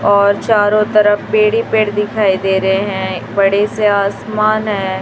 और चारों तरफ पेड़ ही पेड़ दिखाई दे रे हैं बड़े से आसमान है।